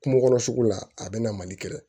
Kungo kɔnɔ sugu la a bɛ na mali kɛ